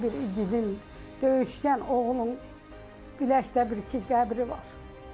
Elə bir igidin, döyüşkən oğlun biləkdə bir ki qəbri var.